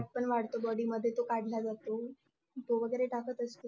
पण वाढतो. body मध्ये तो काढला जातो तो वगैरे टाकत असेल.